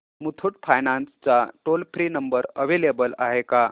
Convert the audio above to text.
Muthoot finance चा toll free number available आहे का